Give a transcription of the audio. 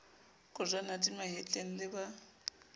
kojwana di mahetleng le ba